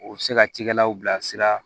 U bɛ se ka cikɛlaw bilasira